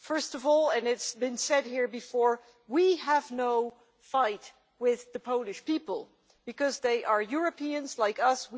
First of all and this has been said here before we have no fight with the Polish people, because they are Europeans like us.